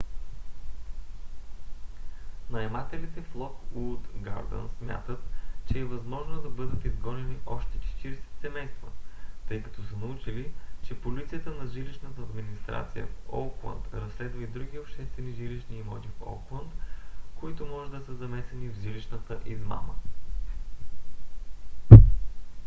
наемателите в локууд гардънс смятат че е възможно да бъдат изгонени още 40 семейства тъй като са научили че полицията на жилищната администрация в оукланд разследва и други обществени жилищни имоти в оукланд които може да са замесени в жилищната измама